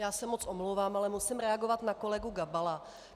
Já se moc omlouvám, ale musím reagovat na kolegu Gabala.